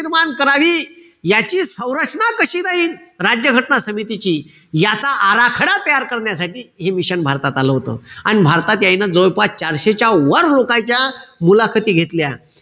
निर्माण करावी, याची सरंचना कशी राहील, राज्य घटना समितीची. याचा आराखडा तयार करण्यासाठी, हे mission भारतात आलं होतं. अन भारतात यायनं जवळपास चारशेच्या वर लोकाईच्या मुलाखती घेतल्या.